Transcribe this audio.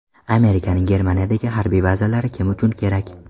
Amerikaning Germaniyadagi harbiy bazalari kim uchun kerak?